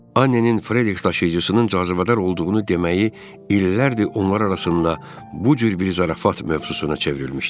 Annenin Frediksi daşıyıcısının cazibədar olduğunu deməyi illərdir onlar arasında bu cür bir zarafat mövzusuna çevrilmişdi.